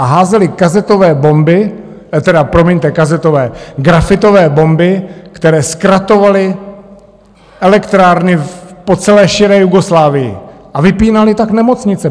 A házeli kazetové bomby, tedy, promiňte, kazetové... grafitové bomby, které zkratovaly elektrárny po celé širé Jugoslávii, a vypínali tak nemocnice.